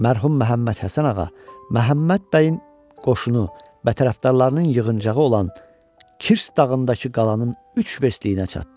Mərhum Məhəmməd Həsən ağa Məhəmməd bəyin qoşunu və tərəfdarlarının yığıncağı olan Kirs dağındakı qalanın üç verstliyinə çatdı.